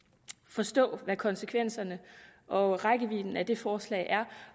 forstå hvad konsekvenserne og rækkevidden af det forslag er